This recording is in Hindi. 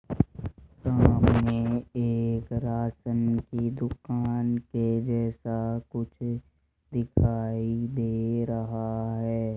सामने एक राशन की दुकान के जैसा कुछ दिखाई दे रहा है।